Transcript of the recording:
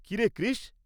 কি রে, কৃষ!